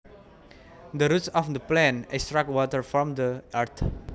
The roots of the plant extract water from the earth